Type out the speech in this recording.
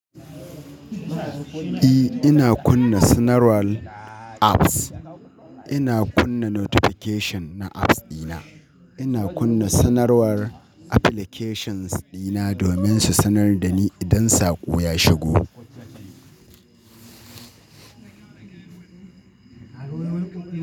E, ina kunna sanarwar apps. Ina kunna notification na apps dina. Ina kunna sanarwar applications dina domin su sanar da ni idan saƙo ya shigo.